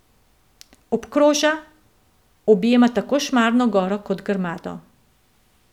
Obkroža, objema tako Šmarno goro kot Grmado.